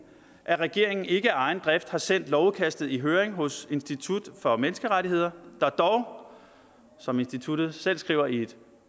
at regeringen ikke af egen drift har sendt lovudkastet i høring hos institut for menneskerettigheder der dog som instituttet selv skriver i et